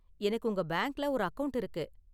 எனக்கு உங்க பேங்க்ல ஒரு அக்கவுண்ட் இருக்கு